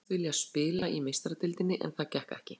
Ég sagðist vilja spila í Meistaradeildinni en það gekk ekki.